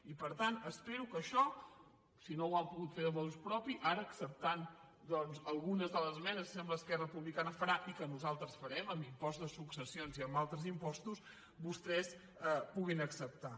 i per tant espero que això si no ho han pogut fer de motu propioacceptant doncs algunes de les esmenes que sembla que esquerra republicana farà i que nosaltres farem amb l’impost de successions i amb altres impostos vostès ho puguin acceptar